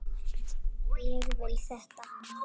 Ég vil þetta.